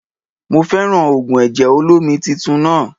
Mo fẹ́ràn ògùn ẹ̀jẹ̀ olómi titun náà